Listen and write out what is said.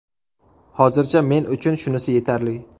Hozircha men uchun shunisi yetarli.